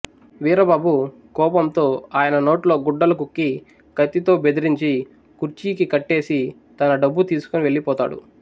వీరబాబు కోపంతో ఆయన నోట్లో గుడ్డలు కుక్కి కత్తితో బెదిరించి కూర్చీకి కట్టేసి తన డబ్బు తీసుకుని వెళ్ళిపోతాడు